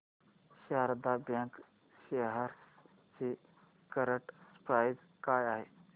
Sharda bank shares ची current price काय आहे